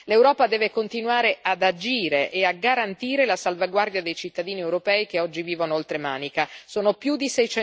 L'Europa deve continuare ad agire e a garantire la salvaguardia dei cittadini europei che oggi vivono oltre Manica sono più di